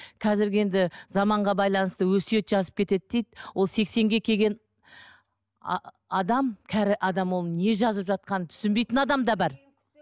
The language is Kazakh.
қазіргі енді заманға байланысты өсиет жазып кетеді дейді ол сексенге келген адам кәрі адам оның не жазып жатқанын түсінбейтін адам да бар